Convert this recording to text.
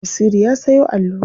Basiru ya sayo allura.